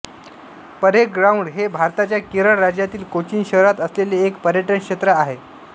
parade ground हे भारताच्या केरळ राज्यातील कोचीन शहरात असलेले एक पर्यटन क्षेत्र आहे